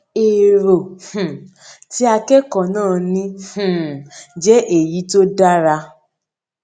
èrò um tí akẹkọọ náà ní um jẹ èyí tó dára